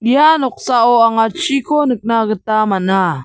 ia noksao anga chiko nikna gita man·a.